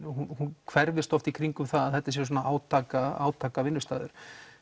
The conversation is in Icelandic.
hún hverfist oft í kringum það að þetta sé svona átaka átaka vinnustaður